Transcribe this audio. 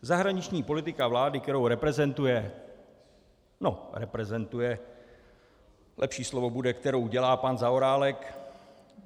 Zahraniční politika vlády, kterou reprezentuje - no, reprezentuje, lepší slovo bude, kterou dělá pan Zaorálek.